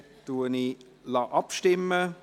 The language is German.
– Dann lasse ich abstimmen.